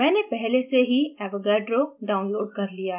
मैंने पहले से ही avogadro downloaded कर लिया है